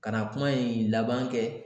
Ka na kuma in laban kɛ